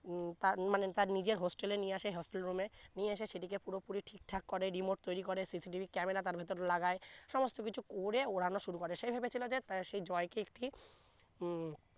উম তার মানে তার নিজের hostel এ নিয়ে আসে hostel room এ নিয়ে এসে সেটি সেটিকে পুরো পুরি ঠিক ঠাক করে remote তৈরি করে CCTV ক্যামেরা তার ভিতর লাগায় সমস্ত কিছু করে উড়ানো শুরু করে সে ভেবেছিলো যে তা সে জয় কে একটি উম